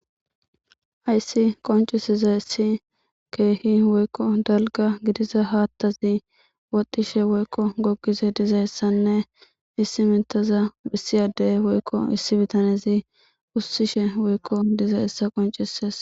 Haysi qoncisdaysi keehi woyko dalga gidiza ahaathazi wodishe woyko gogishe dizaysanne issi mitaza issi adey woyko issi bitanezi ushishe woyko dizaysa qoncises